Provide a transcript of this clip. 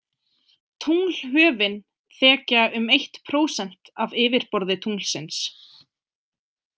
Tunglhöfin þekja um eitt prósent af yfirborði tunglsins.